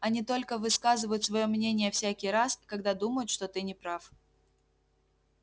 они только высказывают своё мнение всякий раз когда думают что ты не прав